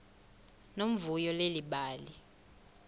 nomvuyo leli bali